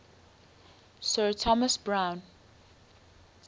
sir thomas browne